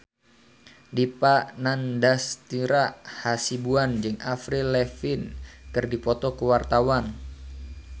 Dipa Nandastyra Hasibuan jeung Avril Lavigne keur dipoto ku wartawan